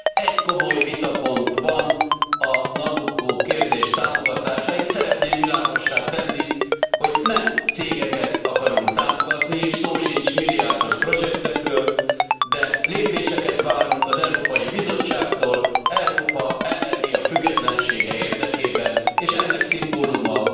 Egy komoly vitapont van, a Nabucco kérdés támogatása. Én szeretném világossá tenni, hogy nem cégeket akarunk támogatni, és szó sincs milliárdos projektekről, de lépéseket várunk az Európai Bizottságtól Európa energiafüggetlensége érdekében, és ennek szimbóluma